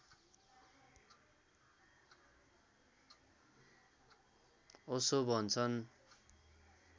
ओशो भन्छन्